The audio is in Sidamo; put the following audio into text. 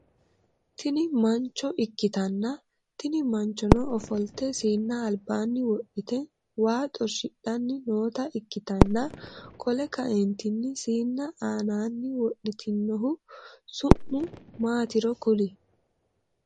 Tini manchcho ikkitanna tini manchchono ofoltte siinna albaanni wodhite waa xorshshidhanni noota ikkitanna qole kaeentini siinna aanaani wodhitinohu su'mi maatiro kuli?